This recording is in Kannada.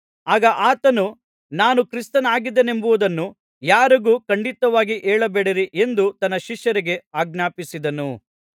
ಆಗ ಆತನು ನಾನು ಕ್ರಿಸ್ತನಾಗಿದ್ದೆನೆಂಬುದನ್ನು ಯಾರಿಗೂ ಖಂಡಿತವಾಗಿ ಹೇಳಬೇಡಿರಿ ಎಂದು ತನ್ನ ಶಿಷ್ಯರಿಗೆ ಆಜ್ಞಾಪಿಸಿದನು